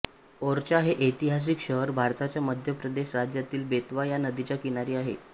ओरछा हे ऐतिहासिक शहर भारताच्या मध्य प्रदेश राज्यातील बेतवा या नदीच्या किनारी आहे